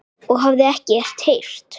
og hafði ekkert heyrt.